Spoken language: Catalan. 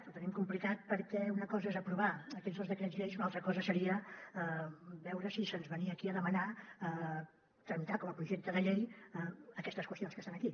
ho tenim complicat perquè una cosa és aprovar aquests dos decrets llei i una altra cosa seria veure si se’ns venia aquí a demanar tramitar com a projecte de llei aquestes qüestions que estan aquí